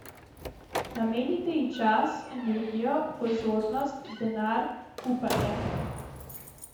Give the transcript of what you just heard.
Namenite ji čas, energijo, pozornost, denar, upanje ...